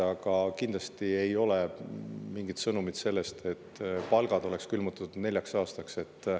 Aga kindlasti ei ole antud mingit sõnumit, et palgad on külmutatud neljaks aastaks.